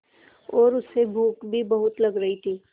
और उसे भूख भी बहुत लग रही थी